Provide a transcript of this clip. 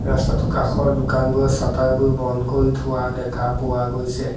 ৰাস্তাটোৰ কাষৰ দোকানবোৰৰ শ্বাটাৰ বোৰ বন্ধ কৰি থোৱা দেখা পোৱা গৈছে।